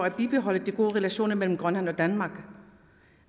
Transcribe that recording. at bibeholde de gode relationer mellem grønland og danmark